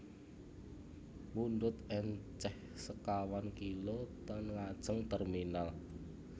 Mundhut enceh sekawan kilo ten ngajeng terminal